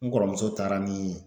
N kɔrɔmuso taara ni